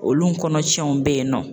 Olu kɔnɔcɛnw bɛ yen nɔ.